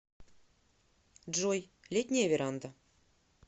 джой летняя веранда